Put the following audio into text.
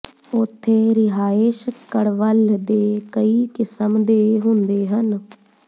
ਉੱਥੇ ਰਿਹਾਇਸ਼ ਕਡ਼ਵੱਲ ਦੇ ਕਈ ਕਿਸਮ ਦੇ ਹੁੰਦੇ ਹਨ